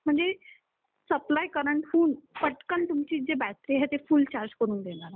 म्हणजे supply current हून पटकन तुमची जी बॅटरी आहे ती आहे जी फुल चार्ज करून देणार आहे